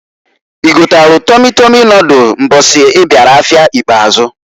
I gotalụ Tọmi tọmi nodul mbọsị ị bịara afịa ikpazụ.